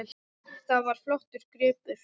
Það var flottur gripur.